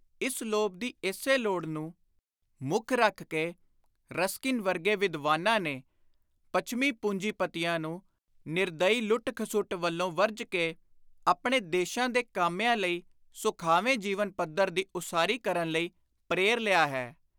ਇਸ ਲੋਭ ਦੀ ਇਸੇ ਲੋੜ ਨੂੰ ਮੁੱਖ ਰੱਖ ਕੇ ਰਸਕਿਨ ਵਰਗੇ ਵਿਦਵਾਨਾਂ ਨੇ ਪੱਛਮੀ ਪੁੰਜੀਪਤੀਆਂ ਨੂੰ ਨਿਰਦਈ ਲੁੱਟ-ਖਸੁੱਟ ਵੱਲੋਂ ਵਰਜ ਕੇ ਆਪਣੇ ਦੇਸ਼ਾਂ ਦੇ ਕਾਮਿਆਂ ਲਈ ਸੁਖਾਵੇਂ ਜੀਵਨ ਪੱਧਰ ਦੀ ਉਸਾਰੀ ਕਰਨ ਲਈ ਪ੍ਰੇਰ ਲਿਆ ਹੈ।